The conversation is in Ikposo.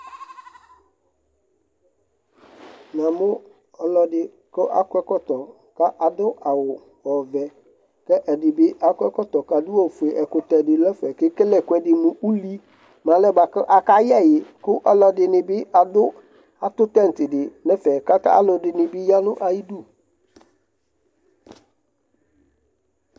namʊ ɔlɔdɩ kʊ akɔ ɛkɔtɔ kʊ adʊ awu ɔvɛ, kʊ ɛdɩbɩ akɔ ɛkɔtɔ kʊ adʊ awu fue, ɛkʊtɛ dɩ dʊ ɛfɛ kʊ ekele ɛkʊɛdɩ mʊ uli, mʊ alɛnɛ bua kʊ aka yɛ ɛwi, kʊ alʊɛdɩnɩ bɩ atʊ tẽti dɩ nʊ ɛfɛ kʊ aluɛdɩnɩ bɩ ya nʊ ayidu